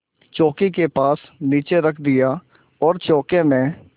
चौकी के पास नीचे रख दिया और चौके में